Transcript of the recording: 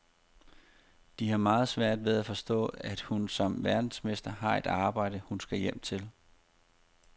De har meget svært ved at forstå, at hun som verdensmester har et arbejde, hun skal hjem til.